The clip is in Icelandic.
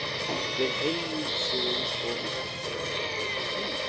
Við heilsuðumst og í þetta sinn var ég dálítið feimin.